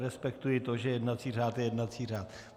Respektuji to, že jednací řád je jednací řád.